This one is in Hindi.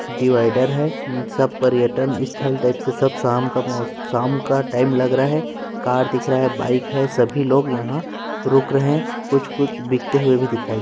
डिवाइडर है अ सब पर्यटन स्थल टाइप से सब शाम का मोस शाम का टाइम लग रहा हैं कार दिख रहा हैं बाइक हैं सभी लोग यहाँ रुक रहे हैं कुछ - कुछ बिकते हुए भी दिखाई --